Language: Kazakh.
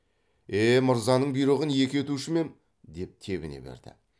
е мырзаның бұйрығын екі етуші ме ем деп тебіне берді